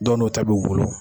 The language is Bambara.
Dɔw nu ta' bu bolo.